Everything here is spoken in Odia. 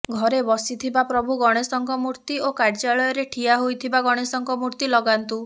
ଘରେ ବସିଥିବା ପ୍ରଭୁ ଗଣେଶଙ୍କ ମୂର୍ତ୍ତି ଓ କାର୍ଯ୍ୟାଳୟରେ ଠିଆ ହୋଇଥିବା ଗଣେଶଙ୍କ ମୂର୍ତ୍ତି ଲଗାନ୍ତୁ